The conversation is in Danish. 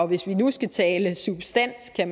hvis vi nu skal tale substans at